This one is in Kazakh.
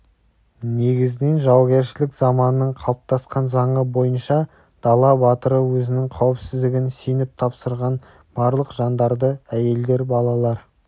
негізінен жаугершілік заманның қалыптасқан заңы бойынша дала батыры өзінің қауіпсіздігін сеніп тапсырған барлық жандарды әйелдер балалар